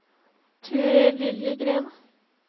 Ture Liljegren